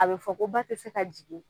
A bɛ fɔ ko ba tɛ se ka jigin